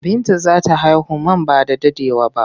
Binta za ta haihu man ba da daɗewa ba.